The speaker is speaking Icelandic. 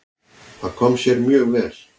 Það kom sér mjög vel.